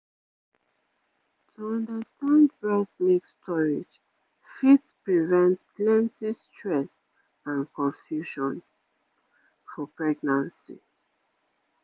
to understand breast milk storage fit prevent plenty stress and confusion for pregnancy